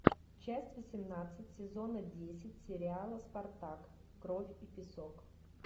часть восемнадцать сезона десять сериала спартак кровь и песок